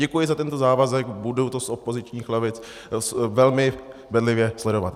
Děkuji za tento závazek, budu to z opozičních lavic velmi bedlivě sledovat.